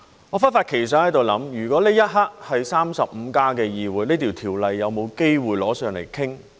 我忽發奇想，如果這一刻是 "35+" 的議會，這法案有否機會提上來討論？